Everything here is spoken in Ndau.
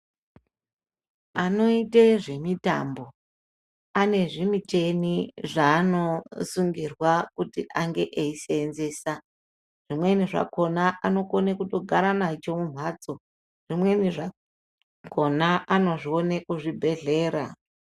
Anoite zvemitambo ane zvimuchini zvaanosungirwa kuti ange eizoseenzesa zvimweni zvakona anokona kutogara nazvo mumbatso zvimweni zvakona anozvione kuzvibhedhleya.